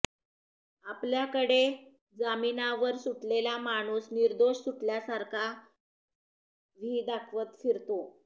आपल्याकडे जामीनावर सुटलेला माणूस निर्दोष सुटल्यासारखा व्ही दाखवत फिरतो